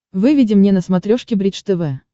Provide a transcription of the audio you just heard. выведи мне на смотрешке бридж тв